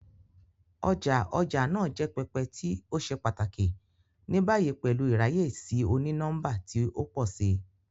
Ọja ọja naa jẹ pẹpẹ ti o ṣe pataki, ni bayi pẹlu iraye si oni-nọmba ti o pọ si.